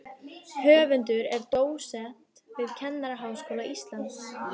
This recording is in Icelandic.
Höfundur er dósent við Kennaraháskóla Íslands.